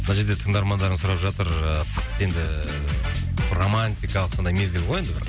мына жерде тыңдармандарың сұрап жатыр ыыы қыс енді романтикалық сондай мезгіл ғой енді бір